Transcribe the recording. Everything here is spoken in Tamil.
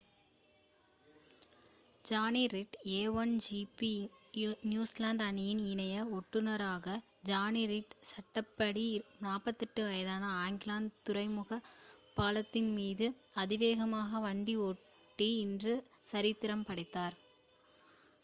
Johnny Reid a1 GP New Zealand அணியின் இணை ஓட்டுநரான ஜானி ரீட் சட்டப்படி 48 வயதான ஆக்லாந்து துறைமுகப் பாலத்தின் மீது அதிவேகமாக வண்டி ஓட்டி இன்று சரித்திரம் படைத்தார்